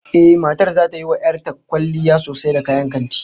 Ehh, matar zata yi wa 'yar ta kwalliya sosai da kayan kanti